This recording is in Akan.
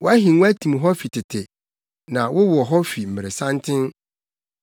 Wʼahengua tim hɔ fi tete; na wowɔ hɔ fi mmeresanten.